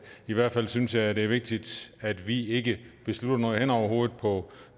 i hvert fald synes jeg det er vigtigt at vi ikke beslutter noget hen over hovedet på